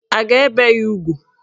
A ga-ebe ya ugwu?